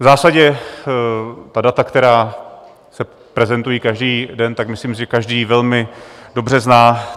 V zásadě ta data, která se prezentují každý den, tak myslím, že každý velmi dobře zná.